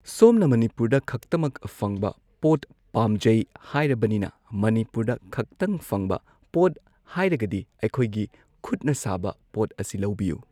ꯁꯣꯝꯅ ꯃꯅꯤꯄꯨꯔꯗ ꯈꯛꯇꯃꯛ ꯐꯪꯕ ꯄꯣꯠ ꯄꯥꯝꯖꯩ ꯍꯥꯏꯔꯕꯅꯤꯅ ꯃꯅꯤꯄꯨꯔꯗ ꯈꯇꯪ ꯐꯪꯕ ꯄꯣꯠ ꯍꯥꯏꯔꯒꯗꯤ ꯑꯩꯈꯣꯏꯒꯤ ꯈꯨꯠꯅ ꯁꯥꯕ ꯄꯣꯠ ꯑꯁꯤ ꯂꯧꯕꯤꯌꯨ꯫